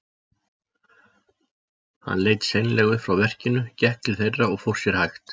Hann leit seinlega upp frá verkinu, gekk til þeirra og fór sér hægt.